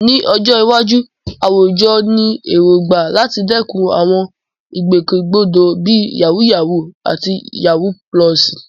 Ní ọjọ́ iwájú, àwùjọ ní èrògbà láti dẹ́kun àwọn ìgbòkègbodò bíi "yàwúyáwù" àti "yawú púlọ̀sì."